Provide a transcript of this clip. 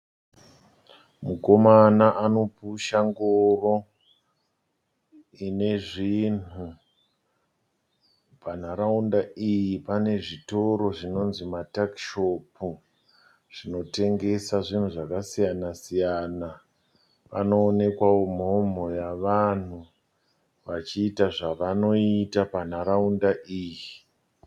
Mukomana anopusha ngoro ine zvinhu. Panharaunda iyi pane zvitoro zvinonzi matuckshop zvinotengesa zvinhu zvakasiyana siyana. Panoonekwawo mhomho yavanhu vachiita zvavanoita panharaunda iyi.